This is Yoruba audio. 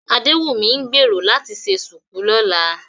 Adéwùnmí ń gbèrò láti ṣe ṣùkú lọ́la